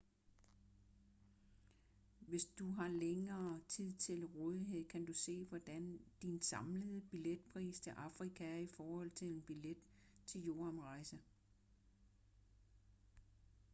hvis du har længere tid til rådighed kan du se hvordan din samlede billetpris til afrika er i forhold til en billet til jordomrejse